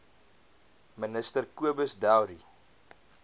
minister cobus dowry